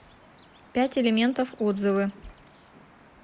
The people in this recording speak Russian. пять элементов отзывы